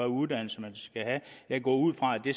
uddannelse man skal have jeg går ud fra at det